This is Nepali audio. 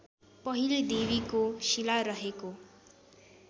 पहिले देवीको शिलारहेको